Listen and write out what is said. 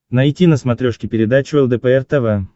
найти на смотрешке передачу лдпр тв